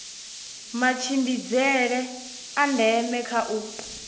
matshimbidzele a ndeme kha u